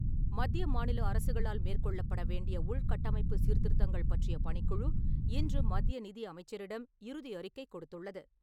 மத்திய மாநில அரசுகளால் மேற்கொள்ளப்பட வேண்டிய உள்கட்டமைப்பு சீர்திருத்தங்கள் பற்றிய பணிக்குழு, இன்று மத்திய நிதி அமைச்சரிடம் இறுதி அறிக்கை கொடுத்துள்ளது.